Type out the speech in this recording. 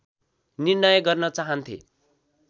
निर्णय गर्न चाहान्थे